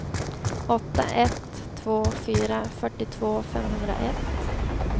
åtta ett två fyra fyrtiotvå femhundraett